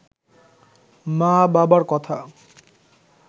মা-বাবার কথা